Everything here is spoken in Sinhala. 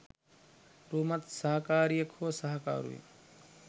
රූමත් සහකාරියක් හෝ සහකරුවෙක්